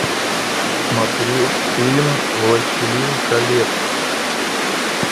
смотреть фильм властелин колец